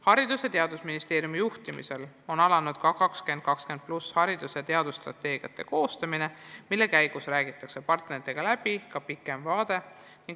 Haridus- ja Teadusministeeriumi juhtimisel on alanud ka haridus- ja teadusstrateegia 2020+ koostamine, mille käigus räägitakse partneritega läbi ka kaugem vaade.